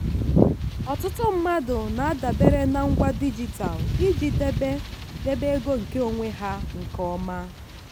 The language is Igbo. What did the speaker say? ọtụtụ mmadụ na-adabere na ngwa dijitalụ iji debe debe ego nkeonwe ha nke ọma.